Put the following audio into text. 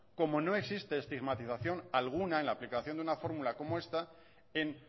como no existe estigmatización alguna en la aplicación de una fórmula como esta en